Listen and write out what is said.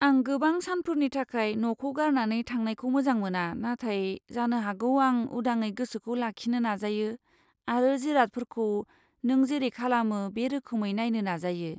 आं गोबां सानफोरनि थाखाय न'खौ गारनानै थांनायखौ मोजां मोना नाथाय जानो हागौ आं उदाङै गोसोखौ लाखिनो नाजायो आरो जिरादफोरखौ नों जेरै खालामो बे रोखोमै नायनो नाजायो।